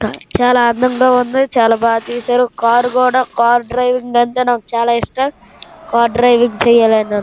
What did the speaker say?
ఇక్కడ చాలా అందంగా వుంది చాలా బాగా తీశారు కార్ డ్రైవింగ్ నాకు నేర్పిస్తానన్నారు చాలా ఇష్టం కార్ డ్రైవింగ్ చెయ్యాలి.